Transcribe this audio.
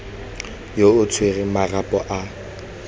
yo o tshwereng marapo a